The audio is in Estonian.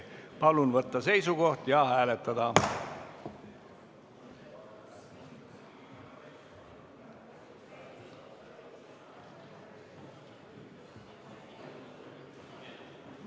Palun võtta seisukoht ja hääletada!